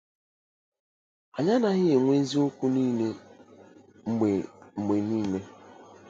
Anyị anaghị enwe Eziokwu Niile mgbe mgbe niile